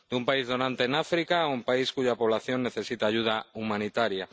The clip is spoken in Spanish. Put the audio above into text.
De un país donante en África a un país cuya población necesita ayuda humanitaria